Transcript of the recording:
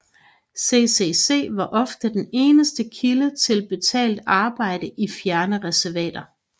CCC var ofte den eneste kilde til betalt arbejde i fjerne reservater